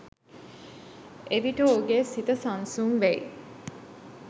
එවිට ඔහුගේ සිත සන්සුන් වෙයි